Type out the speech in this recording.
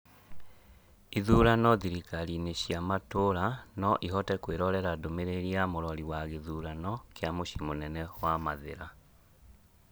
Ithurano thirkarinĩ cia matura No ĩhote kwĩrorera ndũmĩrĩri ya mũrori wa gĩthurano kĩa mũciĩ mũnene wa mathira .